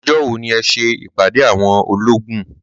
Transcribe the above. Ọjọ́ wo ni ẹ ṣe ìpàdé àwọn olóògùn.